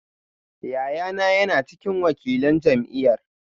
Yayana yana cikin wakilan jam’iyyar